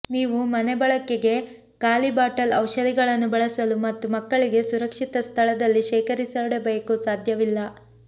ನೀವು ಮನೆಬಳಕೆಗೆ ಖಾಲಿ ಬಾಟಲ್ ಔಷಧಿಗಳನ್ನು ಬಳಸಲು ಮತ್ತು ಮಕ್ಕಳಿಗೆ ಸುರಕ್ಷಿತ ಸ್ಥಳದಲ್ಲಿ ಶೇಖರಿಸಿಡಬೇಕು ಸಾಧ್ಯವಿಲ್ಲ